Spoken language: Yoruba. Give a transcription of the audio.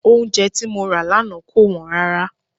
Oúnjẹ tí mo rà lánàá kò wọ́n rárá.